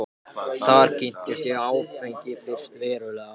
Þar kynntist ég áfengi fyrst verulega.